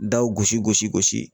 Daw gosi gosi gosi